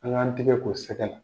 An' ŋ'an tɛgɛ ko sɛgɛ la.